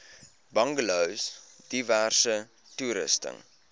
bungalows diverse toerusting